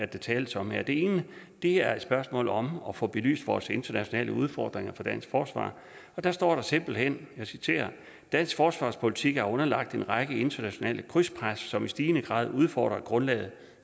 der tales om her det ene er et spørgsmål om at få belyst vores internationale udfordringer for dansk forsvar og der står der simpelt hen jeg citerer dansk forsvarspolitik er underlagt en række internationale krydspres som i stigende grad udfordrer grundlaget